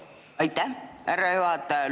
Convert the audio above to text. Aitäh, härra juhataja!